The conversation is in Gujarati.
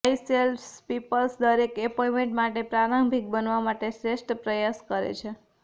વાઈસ સેલ્સપીપલ્સ દરેક એપોઇંટમેંટ માટે પ્રારંભિક બનવા માટે શ્રેષ્ઠ પ્રયાસ કરે છે